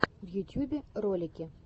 в ютьюбе ролики